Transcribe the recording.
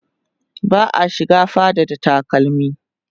ba'a shiga fada da takalmi